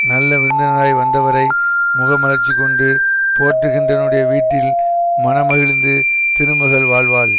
நல்ல விருந்தினராய் வந்தவரை முகமலர்ச்சி கொண்டு போற்றுகின்றவனுடைய வீட்டில் மனமகிழ்ந்து திருமகள் வாழ்வாள்